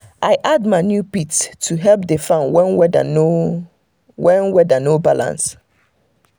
i add manure pit to help the farm when weather no when weather no balance.